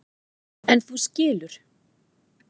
En þú skilur.